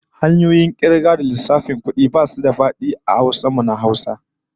Hanyoyin kirga da kuma lissafin kudi ko abubuwa basu da fadi sosai a Hausa